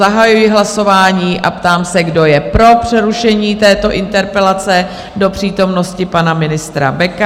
Zahajuji hlasování a ptám se, kdo je pro přerušení této interpelace do přítomnosti pana ministra Beka?